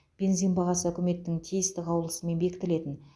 бензин бағасы үкіметтің тиісті қаулысымен бекітілетін